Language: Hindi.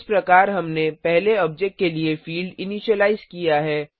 इस प्रकार हमने पहले ऑब्जेक्ट के लिए फिल्ड इनीशिलाइज किया है